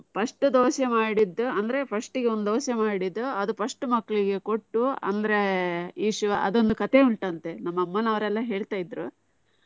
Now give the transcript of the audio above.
First dosa ಮಾಡಿದ್ದು, ಅಂದ್ರೆ first ಒಂದ್ ದೋಸೆ ಮಾಡಿದ್ದ್, ಅದ್ first ಮಕ್ಕ್ಳಿಗೆ ಕೊಟ್ಟು. ಅಂದ್ರೆ ಈಶ್ವ ಅದೊಂದು ಕಥೆ ಉಂಟ್ ಅಂತೆ ನಮ್ಮ ಅಮ್ಮ ನಾವ್ರೆಲ್ಲ ಹೇಳ್ತಾ ಇದ್ರು.